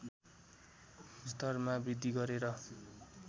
स्तरमा वृद्धि गरेर